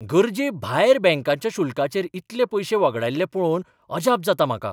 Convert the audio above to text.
गरजेभायर बँकेच्या शुल्कांचेर इतले पयशे वगडायल्ले पळोवन अजाप जाता म्हाका.